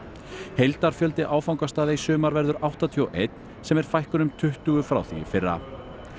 heildarfjöldi áfangastaða í sumar verður áttatíu og ein sem er fækkun um tuttugu frá því í fyrra